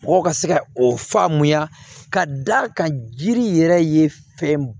Mɔgɔw ka se ka o faamuya ka d'a kan jiri yɛrɛ ye fɛn